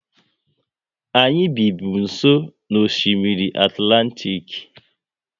Anyị bi bụ nsọ n'Osimiri Atlantik